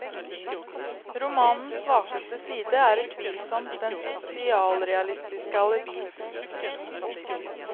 Romanens svakeste side er utvilsomt dens sosialrealistiske alibi.